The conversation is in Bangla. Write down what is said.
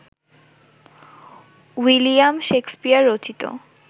উইলিয়াম শেকসপিয়র রচিত